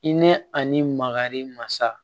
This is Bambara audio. I nɛnɛ ani makari masa